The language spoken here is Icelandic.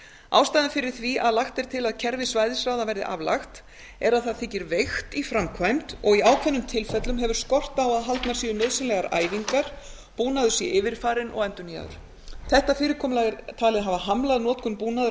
ástæðan fyrir því að lagt er til að kerfi svæðisráða verði aflagt er að það þykir veikt í framkvæmd og í ákveðnum tilfellum hefur skort á að haldnar séu nauðsynlegar æfingar búnaður sé yfirfarinn og endurnýjaður þetta fyrirkomulag er talið hafa hamlað notkun búnaðar